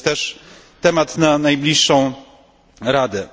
To jest też temat na najbliższą Radę.